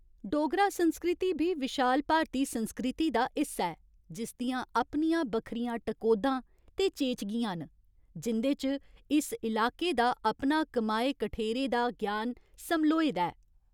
डोगरा संस्कृति बी विशाल भारती संस्कृति दा हिस्सा ऐ, जिस दियां अपनियां बक्खरियां टकोह्दां ते चेचगियां न, जिं'दे च इस इलाके दा अपना कमाए कठेरे दा ज्ञान समल्होए दा ऐ।